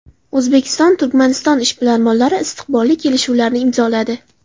O‘zbekiston – Turkmaniston ishbilarmonlari istiqbolli kelishuvlarni imzoladi.